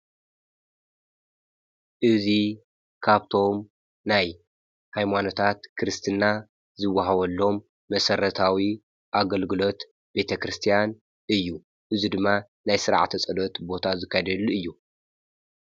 እዚ ካብቶም ናይ ሃይማኖታት ክርስትና ዝወሃበሎም መሰረታዊ አገልግሎት ቤተክርስትያን እዩ፡፡ እዚ ድማ ናይ ስርዓት ፀሎተቦታ ዝካየደሉ እዩ፡፡